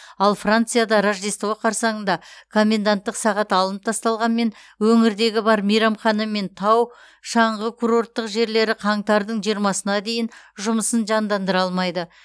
ал францияда рождество қарсаңында коменданттық сағат алынып тасталғанмен өңірдегі бар мейрамхана мен тау шаңғы курорттық жерлері қаңтардың жиырмасына дейін жұмысын жандандыра алмайды